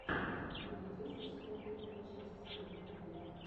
ты найдешь у себя первую часть ева тв